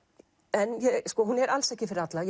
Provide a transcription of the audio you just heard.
en hún er alls ekki fyrir alla